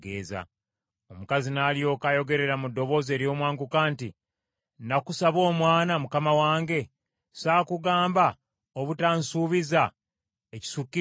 Omukazi n’alyoka ayogerera mu ddoboozi ery’omwanguka nti, “Nakusaba omwana, mukama wange? Saakugamba obutansuubiza ekisukkiridde?”